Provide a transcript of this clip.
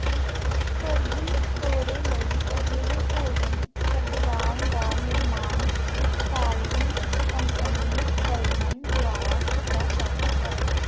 ਫਰਜ਼ੀ ਤੋਰੇ ਲਈ ਅਜਿਹੇ ਭੋਜਨ ਪਦਵਾਨ ਦਾ ਨਿਰਮਾਣ ਇਤਾਲਵੀ ਕੰਪਨੀ ਵਲਮਨ ਦੁਆਰਾ ਕੀਤਾ ਜਾਂਦਾ ਹੈ